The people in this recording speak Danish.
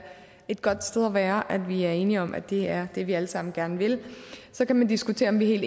et godt sted at være altså at vi er enige om at det er det vi alle sammen gerne vil så kan man diskutere om vi er